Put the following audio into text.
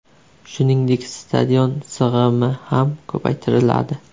Shuningdek, stadion sig‘imi ham ko‘paytiriladi.